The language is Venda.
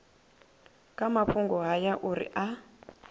kha mafhungo haya uri a